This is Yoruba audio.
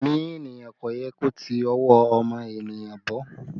Ẹ̀mí ènìyàn kò yẹ kó ti ọwọ́ ọmọ ènìyàn bọ́